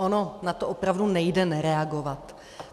Ono na to opravdu nejde nereagovat.